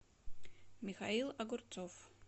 михаил огурцов